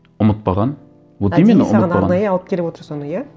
ұмытпаған саған арнайы алып келіп отыр соны иә